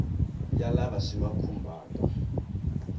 ya lava swi va khumbhaka